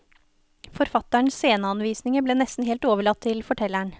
Forfatterens sceneanvisninger ble nesten helt overlatt til fortelleren.